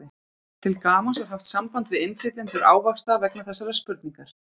Til gamans var haft samband við innflytjendur ávaxta vegna þessarar spurningar.